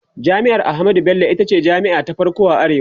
jami'ar ahmadu Bello itace jami'a ta farko a arewa